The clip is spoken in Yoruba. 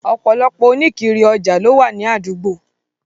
Ọ̀pọ̀lọpọ̀ oníkiri-ọjà lówà ní àdúgbò.